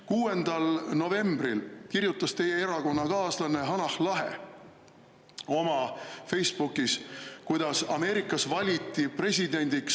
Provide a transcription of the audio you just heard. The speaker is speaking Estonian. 6. novembril kirjutas teie erakonnakaaslane Hanah Lahe oma Facebookis, kuidas Ameerikas valiti presidendiks …